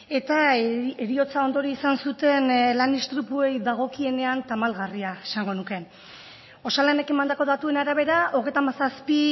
eta heriotza ondorio izan zuten lan istripuei dagokienean tamalgarria esango nuke osalanek emandako datuen arabera hogeita hamazazpi